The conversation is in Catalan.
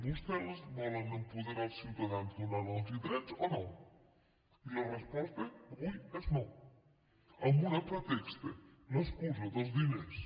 vostès volen apoderar els ciutadans donant los drets o no i la resposta avui és no amb un pretext l’excusa dels diners